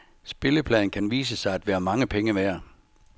Spillepladen kan vise sig at være mange penge værd.